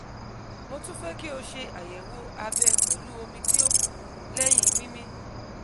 mo tun fẹ ki o ṣe ayẹwo abẹ pẹlu omi ti o ku lẹhin mimi